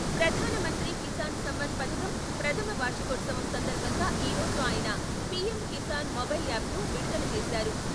'ప్రధాన మంత్రి కిసాన్ సమ్మాన్ ' పథకం ప్రధమ వార్షికోత్సవం సందర్భంగా ఈ రోజు ఆయన పి.ఎం.కిసాన్ మొబైల్ యాప్ను విడుదల చేశారు.